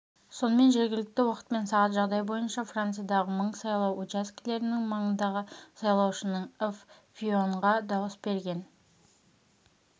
сонымен жергілікті уақытпен сағат жағдай бойынша франциядағы мың сайлау учаскелерінің маңындағы сайлаушының ыф фийонға дауыс берген